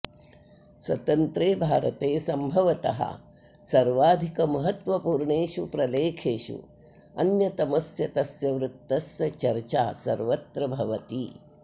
स्वतन्त्रे भारते सम्भवतः सर्वाधिकमहत्त्वपूर्णेषु प्रलेखेषु अन्यतमस्य तस्य वृत्तस्य चर्चा सर्वत्र भवति